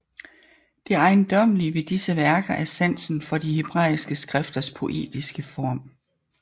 Det ejendommelige ved disse værker er sansen for de hebræiske skrifters poetiske form